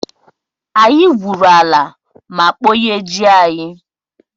Anyị gwuru ala ma kpọnye ji anyị.